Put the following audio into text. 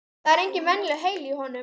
Það er engin venjulegur heili í honum.